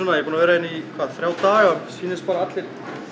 er búinn að vera hérna í þrjá daga og sýnist allir